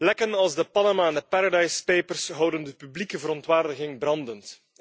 Lekken als de Panama en de Paradise papers houden de publieke verontwaardiging brandend.